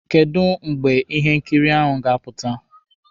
Kedụ mgbe ihe nkiri ahụ ga-apụta?